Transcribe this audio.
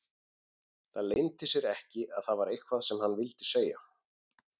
Það leyndi sér ekki að það var eitthvað sem hann vildi segja.